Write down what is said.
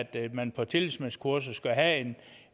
at man på tillidsmandskurser skulle have